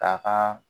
K'a ka